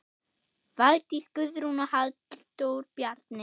Valdís Guðrún og Halldór Bjarni.